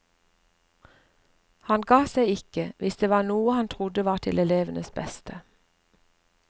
Han ga seg ikke hvis det var noe han trodde var til elevenes beste.